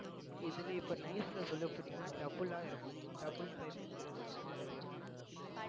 இதுல இப்ப nice ல சொல்லப் போனீங்கன்னா double ஆ இருக்கும் double pipe ங்கிறது ஒரு model இருக்கும்